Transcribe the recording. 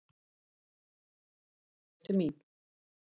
Skilaboðin voru til mín.